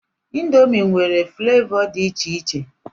Indomi nwere flavọ dị iche iche.